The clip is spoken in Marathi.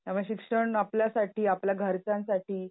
त्यामुळे शिक्षण आपल्यासाठी आपल्या घरच्यांसाठी